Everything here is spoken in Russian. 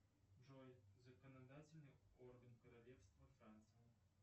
джой законодательный орган королевства франция